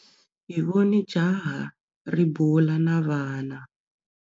Hi vone jaha ri bula na vana.